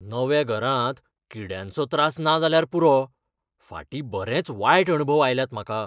गिरायकः "नव्या घरांत किड्यांचो त्रास ना जाल्यार पुरो, फाटीं बरेंच वायट अणभव आयल्यात म्हाका."